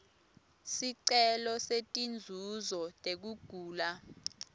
sicelo setinzuzo tekugula